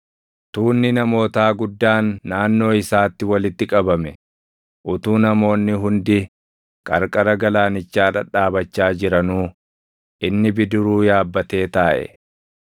Tuunni namootaa guddaan naannoo isaatti walitti qabame; utuu namoonni hundi qarqara galaanichaa dhadhaabachaa jiranuu, inni bidiruu yaabbatee taaʼe.